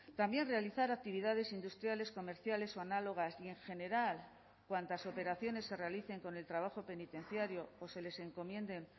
también realizar actividades industriales comerciales o análogas y en general cuantas operaciones se realicen con el trabajo penitenciario o se les encomienden